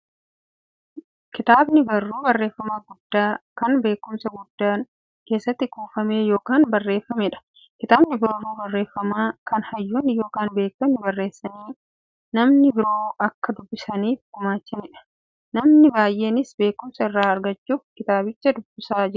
Kitaabni barruu barreeffamaa guddaa, kan beekumsi guddaan keessatti kuufame yookiin barreefameedha. Kitaabni barruu barreeffamaa, kan hayyoonni yookiin beektonni barreessanii, namni biroo akka dubbisaniif gumaachaniidha. Namoonni baay'eenis beekumsa irraa argachuuf kitaabicha nidubbisu.